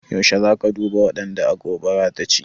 Yaushe za ka duba waɗanda gobara ta ci?